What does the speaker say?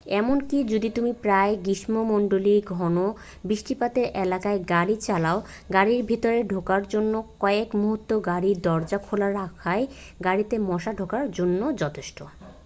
এমনকি যদি তুমি প্রায় গ্রীষ্মমণ্ডলীয় ঘণ বৃষ্টিপাতের এলাকায় গাড়ী চালাও গাড়ীর ভিতরে ঢোকার জন্য কয়েক মুহূর্ত গাড়ীর দরজা খোলা রাখাই গাড়ীতে মশা ঢোকার জন্য যথেষ্ট